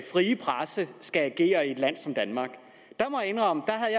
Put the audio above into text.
frie presse skal agere i et land som danmark jeg må indrømme